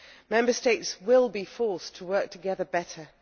Member States will be forced to work together better